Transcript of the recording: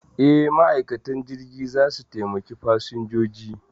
E, ma'aikatan jirgi za su taimaki fasinjoji.